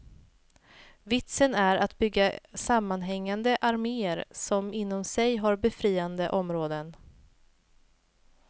Vitsen är att bygga sammanhängande armeer som inom sig har befriade områden.